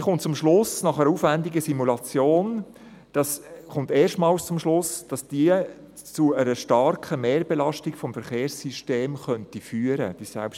Diese kommt nach einer aufwendigen Simulation erstmals zum Schluss, dass die selbstfahrende Mobilität zu einer starken Mehrbelastung des Verkehrssystems führen könnte.